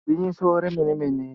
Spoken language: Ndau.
Igwinyiso remene-mene